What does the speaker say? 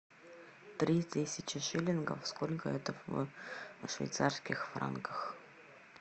три тысячи шиллингов сколько это в швейцарских франках